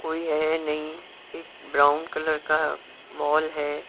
कोई है नहीं एक ब्राउन कलर का मॉल है।